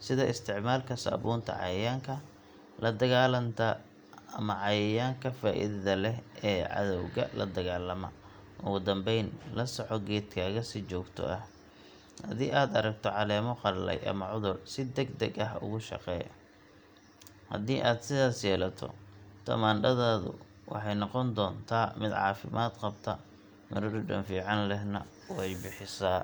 sida isticmaalka saabuunta cayayaanka la dagaalanta ama cayayaanka faa’iidada leh ee cadowga la dagaalama. Ugu dambeyn, la soco geedkaaga si joogto ah – haddii aad aragto caleemo qalalay ama cudur, si degdeg ah uga shaqee. Haddii aad sidaas yeelato, tamaandhadaadu waxay noqon doontaa mid caafimaad qabta, midho dhadhan fiican lehna way bixisaa.